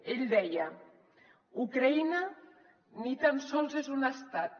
ell deia ucraïna ni tan sols és un estat